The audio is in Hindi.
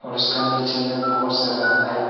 और उसका नीचे में बहोत सारा लाइट --